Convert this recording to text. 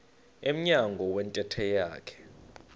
emnyango wentente yakhe